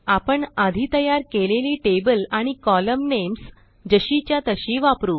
आपण आधी तयार केलेली टेबल आणि कोलम्न नेम्स जशीच्या तशी वापरू